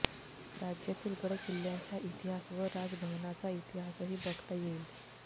राज्यातील गडकिल्ल्यांचा इतिहास व राजभवनाचा इतिहासही बघता येईल